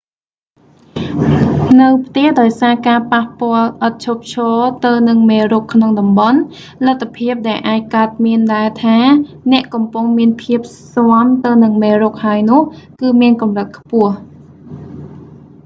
នៅផ្ទះ ដោយសារការប៉ះពាល់ឥតឈប់ឈរទៅនឹងមេរោគក្នុងតំបន់ លទ្ធភាពដែលអាចកើតមានដែលថា អ្នកកំពុងមានភាពស៊ាំទៅនឹងមេរោគហើយនោះ គឺមានកម្រិតខ្ពស